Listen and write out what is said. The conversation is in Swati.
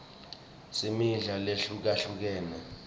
singmidla lehlukahlukene